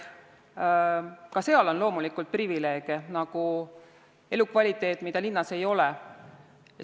Ka maal on loomulikult privileege, nagu elukvaliteet, mida linnas ei ole.